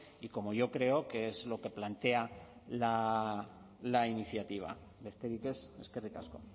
y como yo creo que es lo que plantea la iniciativa besterik ez eskerrik asko